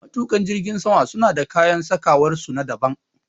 Matuƙa jirgin sama suna da kayan sakawar su na daban